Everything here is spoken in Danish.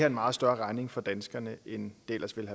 en meget større regning for danskerne end det ellers ville